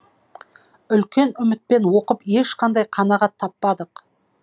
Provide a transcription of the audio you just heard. үлкен үмітпен оқып ешқандай қанағат таппадық